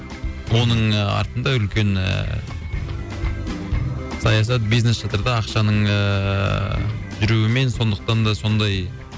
оның артында үлкен ііі саясат бизнес жатыр да ақшаның ііі жүруімен сондықтан да сондай